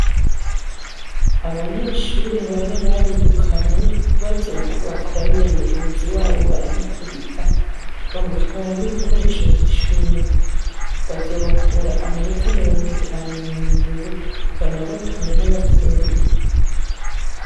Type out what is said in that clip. abanyeshuri bane barirukanwe bazira ko bakoraniye mugenzi wabo baramukubita bamutwara n'ibikoresho by'ishuri bazobakura amanota mirongo itanu mu ndero banabatume n'ababyeyi